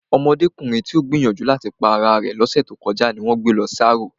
Ọmọdékùnrin tí ó gbìyànjú láti pa ara rẹ̀ ní ọ̀sẹ̀ tí ó kọjá n wón gbé lọ sí arò